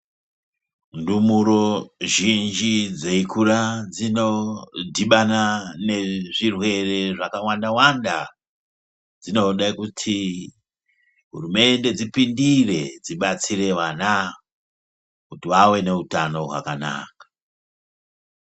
Ndumuro zhinji dzeikura dzinodhibana nezvirere zvakawanda-wanda. Dzinode kuti hurumende dzipindire dzibatsire vana kuti vave nehutano hwakanaka.